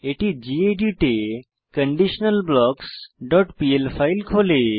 এটি গেদিত এ conditionalblocksপিএল ফাইল খোলে